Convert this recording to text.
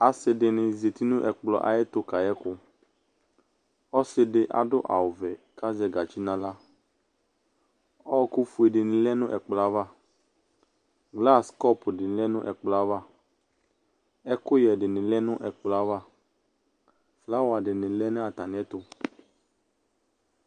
Asɩ dɩnɩ zati nʋ ɛkplɔ ayɛtʋ kayɛ ɛkʋ Ɔsɩ dɩ adʋ awʋvɛ kʋ azɛ gatsi nʋ aɣla Ɔɣɔkʋfue dɩnɩ lɛ nʋ ɛkplɔ yɛ ava Nas kɔpʋ dɩ lɛ nʋ ɛkplɔ yɛ ava Ɛkʋyɛ dɩnɩ lɛ nʋ ɛkplɔ yɛ ava, flawa dɩnɩ lɛ nʋ atamɩɛtʋ